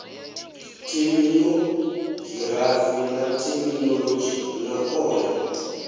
theminogirafi na theminolodzhi na one